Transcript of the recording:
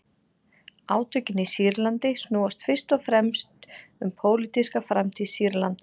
Átökin í Sýrlandi snúast fyrst og fremst um pólitíska framtíð Sýrlands.